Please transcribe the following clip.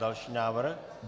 Další návrh.